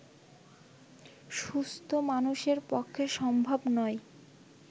সুস্থ্ মানুষের পক্ষে সম্ভব নয়